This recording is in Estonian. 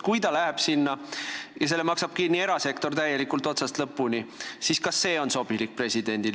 Kui ta läheb sinna ja selle maksab erasektor täielikult, otsast lõpuni kinni, kas see on sobilik presidendile?